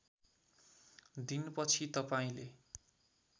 दिन पछि तपाईँले